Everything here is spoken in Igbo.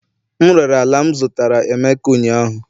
M rere ala m zụtara emeka ụnyahụ